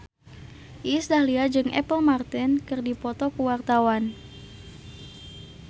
Iis Dahlia jeung Apple Martin keur dipoto ku wartawan